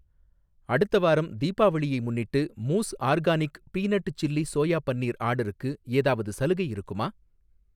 அடுத்த வாரம் தீபாவளியை முன்னிட்டு, Moose organic peanut chilli soya paneer ஆர்டருக்கு ஏதாவது சலுகை இருக்குமா?